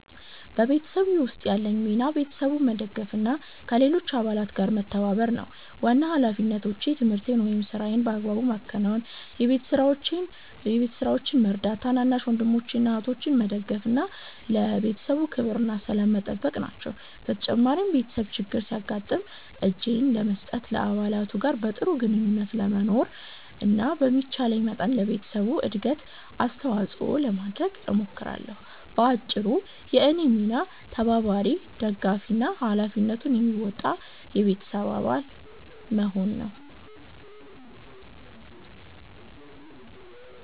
በቤተሰቤ ውስጥ ያለኝ ሚና ቤተሰቡን መደገፍ እና ከሌሎች አባላት ጋር መተባበር ነው። ዋና ሃላፊነቶቼ ትምህርቴን ወይም ሥራዬን በአግባቡ ማከናወን፣ የቤት ስራዎችን መርዳት፣ ታናናሽ ወንድሞችን ወይም እህቶችን መደገፍ እና ለቤተሰቡ ክብርና ሰላም መጠበቅ ናቸው። በተጨማሪም ቤተሰብ ችግር ሲያጋጥም እጄን ለመስጠት፣ ከአባላቱ ጋር በጥሩ ግንኙነት ለመኖር እና በሚቻለኝ መጠን ለቤተሰቡ እድገት አስተዋጽኦ ለማድረግ እሞክራለሁ። በአጭሩ፣ የእኔ ሚና ተባባሪ፣ ደጋፊ እና ሃላፊነቱን የሚወጣ የቤተሰብ አባል መሆን ነው።